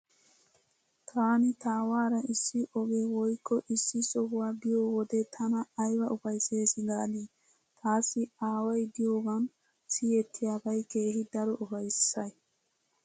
Taani taawaara issi oge woykko issi sohuwaa biyo wode tana ayba ufayssees gaadii. Taassi aaway diyoogan siyettiyaabay keehi daro ufayssay.